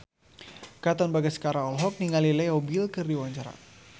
Katon Bagaskara olohok ningali Leo Bill keur diwawancara